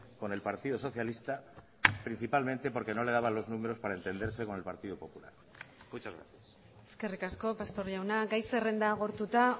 con el partido socialista principalmente porque no le daban los números para entenderse con el partido popular muchas gracias eskerrik asko pastor jauna gai zerrenda agortuta